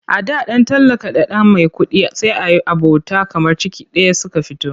A da ɗan talaka da ɗan maikuɗi sai yi abota kamar ciki ɗaya suka fito.